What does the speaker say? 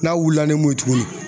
N'a wulila ni mun ye tuguni